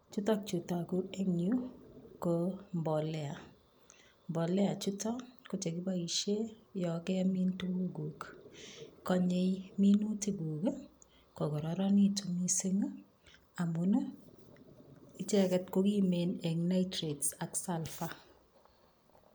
Chutokchu togu eng yu ko mbolea. Mbolea chutok kochekiboishe yo kemin tukukg'uk. Konyei minutikg'uk kokororonekitu mising amun icheket ko kimen eng nitrates ak sulfar.